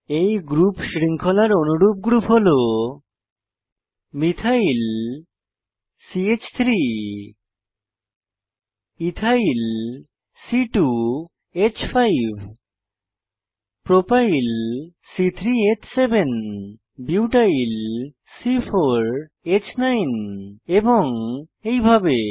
এই গ্রুপ শৃঙ্খলার অনুরূপ গ্রুপ হল মিথাইল মিথাইল চ3 ইথাইল ইথাইল c2হ্5 প্রপাইল প্রোপাইল c3হ্7 বিউটাইল বিউটাইল c4হ্9 এবং এইভাবে